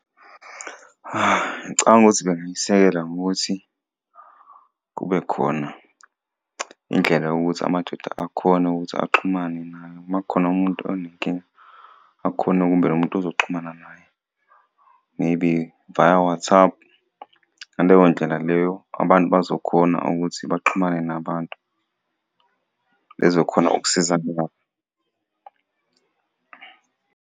Ngicabanga ukuthi bengayisekela ngokuthi kube khona indlela yokuthi amadoda akhone ukuthi axhumane naye. Uma kukhona umuntu onenkinga akhone umuntu azoxhumana naye, maybe via WhatsApp. Ngaleyo ndlela leyo abantu bazokhona ukuthi baxhumane nabantu, bezo khona ukusizana nabo.